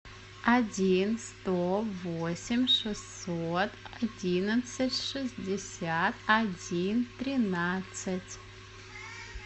один сто восемь шестьсот одиннадцать шестьдесят один тринадцать